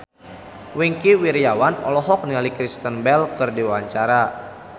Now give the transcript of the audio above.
Wingky Wiryawan olohok ningali Kristen Bell keur diwawancara